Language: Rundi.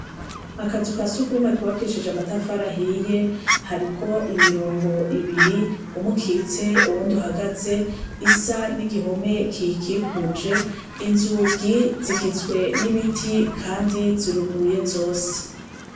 Akazu ka sugumwe kubakishije amatafari ahiye hariko imirongo ibiri umukitse uwundi uhagaze isa n'igihome kikikuje inzugi zigizwe n'ibiti, kandi ziruguruye zose.